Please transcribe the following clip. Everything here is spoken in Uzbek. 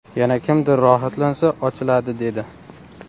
Yana kimdir rohatlansa, ochiladi dedi.